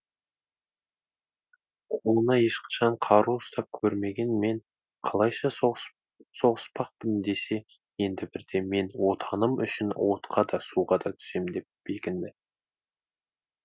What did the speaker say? қолына ешқашан қару ұстап көрмеген мен қалайша соғыс соғыспақпын десе енді бірде мен отаным үшін отқа да суға да түсем деп бекінді